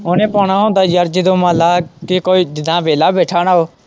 ਉਹਨੇ ਪਾਉਣਾ ਹੁੰਦਾ ਯਾਰ ਜਦੋਂ ਮੰਨ ਲੈ ਕਿ ਕੋਈ ਜਿੱਦਾ ਵਿਹਲਾ ਬੈਠਾ ਨਾ ਉਹ।